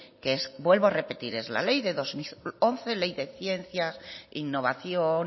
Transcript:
que es vuelvo a repetir es la ley de dos mil once ley de ciencias innovación